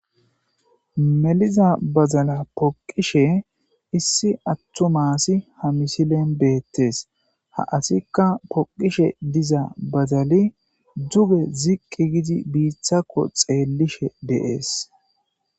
Meliza bazala poqishe issi attu maasi ha misilen beettees ha asikka poqishe diza bazali duge ziqqi gidi biiththakko xeellishe deees.